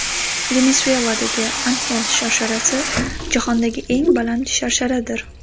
Venesueladagi Anxel sharsharasi jahondagi eng baland sharsharadir.